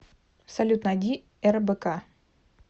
салют найди рбк